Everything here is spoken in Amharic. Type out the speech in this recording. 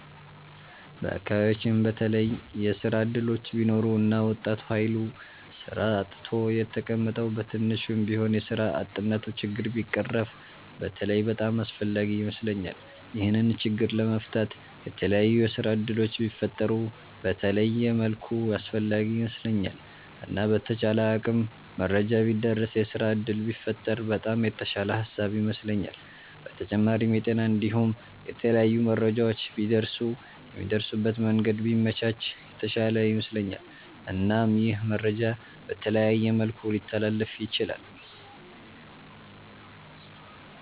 በአከባቢያቺን በተለየ የስራ እድሎች ቢኖሩ እና ወጣቱ ሀይል ስራ አጥቶ የተቀመጠዉ በትንሹም ቢሆን የስራ አጥነቱ ችግር ቢቀረፍ በተለይ በጣም አስፍላጊ ይመስለኛል። ይሄንን ችግር ለመፍታት የተላያዩ የስራ እድሎች ቢፈጠሩ በተለየ መልኩ አስፈላጊ ይመስለኛል። እና በተቻለ አቅም መረጃ ቢዳረስ የስራ እድል ቢፈጠር በጣም የተሻለ ሃሳብ ይመስለኛል። በተጫማሪም የጤና እንዲሁም የተለያዩ መረጃዎች ቢደርሱ የሚደርሱበት መንገድ ቢመቻች የተሻለ ይመስለኛል። እናም ይህ መረጃ በተለያየ መልኩ ሊተላለፍ ይችላል።